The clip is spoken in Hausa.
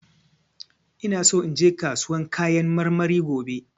ina so inje kasuwan kayan marmari gobe.